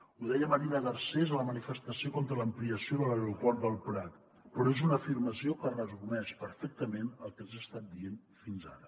ho deia marina garcés a la manifestació contra l’ampliació de l’aeroport del prat però és una afirmació que resumeix perfectament el que els he estat dient fins ara